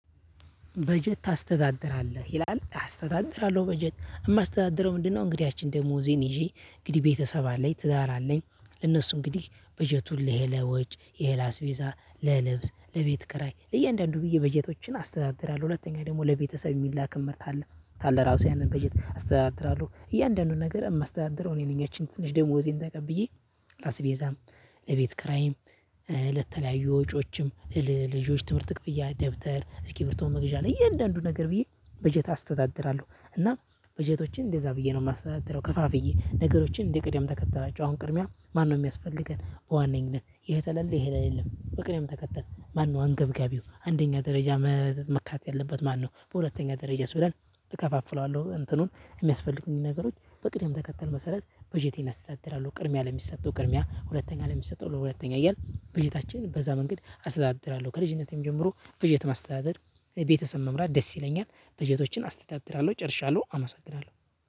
በጀት ታስተዳድራለህ ይላል አስተዳድራለሁ በጀት የማስተዳድረው ምንድነው? እንግዲህ ያቺን ደሞዜን ይዤ እንግዲህ ቤተሰብ አለኝ ትዳር አለኝ ለነሱ እንግዲህ በጀቱን ለሂ ለሂ ወጭ ይሄ ላስቤዛ ለልብስ ለቤት ክራይ ለእያንዳንዱ ብዬ በጀቶችን አስተዳድራለሁ። ሁለተኛ ደግሞ ለቤተሰብ እሚላክም እልካለው ካለ ራሱ ያንን በጀት አስተዳድራለሁ። እያንዳንዱን ነገር የማስተዳድረው እኔ ነኝ ያችን ትንሽ ደሞዜን ተቀብዬ ላስቤዛም ለቤት ክራይም ለተለያዩ ወጪዎችም ልጆች ትምህርት ክፍያ ደብተር እስኪርብቶ መግዣ ለእያንዳንዱ ነገር ብዬ በጀት አስተዳድራለሁ። እና በጀቶችን እንደዛ ብዬ ነው ማስተዳድረው ከፋፍዬ ነገሮችን እንደ ቅደም ተከተላቸው አሁን ቅድሚያ ማነው ሚያስፈልገን በዋነኝነት ይሄ ተለለ ይሄ ላይ የለም። በቅደም ተከተል ማነው አንገብጋቢው አንደኛ ደረጃ? መካተት ያለበት ማነው? በሁለተኛ ደረጃስ ብለን እከፋፍለዋለሁ እንትኑን እሚያስፈልጉኝን ነገሮች በቅደም ተከተል መሰረት በጀቴን አስተዳድራለሁ። ቅድሚያ ለሚሰጠው ቅድሚያ ሁለተኛ ለሚሰጠው ለሁለተኛ እያልን በጀታችን በዛ መንገድ አስተዳድራለሁ። ከልጅነቴም ጀምሮ በጀት ማስተዳደር ቤተሰብ መምራት ደስ ይለኛል። በጀቶችን አስተዳድራለው ጨርሻለው አመሰግናለው።